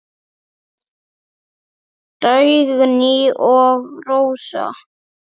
Dagný og Rósa.